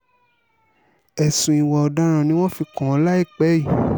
ẹ̀sùn ìwà ọ̀daràn ni wọ́n fi kàn án láìpẹ́ yìí